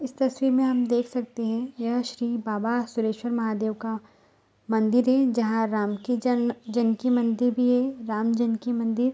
इस तस्वीर में देख सकते हैं यह श्री बाबा सुरेसवर महादेव का मंदिर है जहाँ राम की जन्म जनकी मंदिर भी है राम जनकी मंदिर।